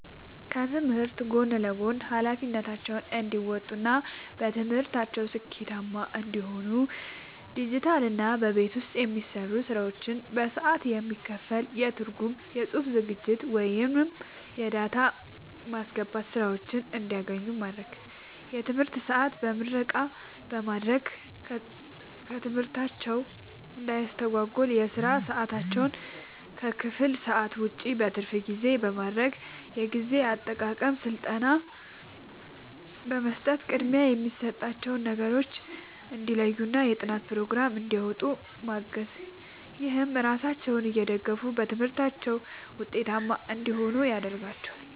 ከትምህርት ጎን ለጎን ኃላፊነታቸውን እንዲወጡ እና በትምህርታቸው ስኬታማ እንዲሆኑ ዲጂታልና በቤት ውስጥ የሚሰሩ ስራዎች በሰዓት የሚከፈል የትርጉም፣ የጽሑፍ ዝግጅት ወይም የዳታ ማስገባት ሥራዎችን እንዲያገኙ ማድረግ። የትምህርት ሰዓት በምረቃ በማድረግ ትምህርታቸውን እንዳያስተጓጉል የሥራ ሰዓታቸውን ከክፍል ሰዓት ውጭ (በትርፍ ጊዜ) ማድረግ። የጊዜ አጠቃቀም ሥልጠና በመስጠት ቅድሚያ የሚሰጣቸውን ነገሮች እንዲለዩና የጥናት ፕሮግራም እንዲያወጡ ማገዝ። ይህም ራሳቸውን እየደገፉ በትምህርታቸው ውጤታማ እንዲሆኑ ያደርጋቸዋል።